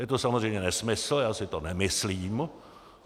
Je to samozřejmě nesmysl, já si to nemyslím.